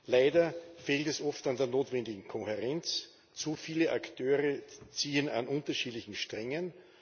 Leider fehlt es oft an der notwendigen Kohärenz, zu viele Akteure ziehen an unterschiedlichen Strängen.